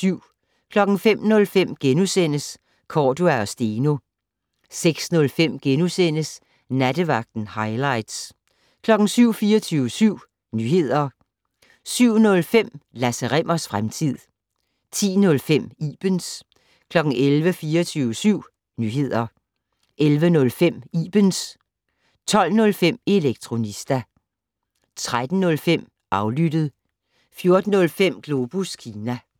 05:05: Cordua & Steno * 06:05: Nattevagten - hightlights * 07:00: 24syv Nyheder 07:05: Lasse Rimmers fremtid 10:05: Ibens 11:00: 24syv Nyheder 11:05: Ibens 12:05: Elektronista 13:05: Aflyttet 14:05: Globus Kina